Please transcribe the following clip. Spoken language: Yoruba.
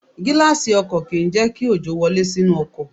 Gíláàsì ọkọ̀ kì ń jẹ́ kí òjò wọlé sínú ọkọ̀.